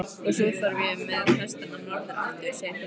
Og svo þarf ég með hestana norður aftur, segir pilturinn.